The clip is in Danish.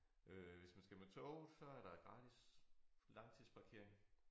Øh hvis man skal med tog så er der gratis langtidsparkering